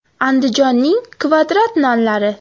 Andijonning kvadrat nonlari.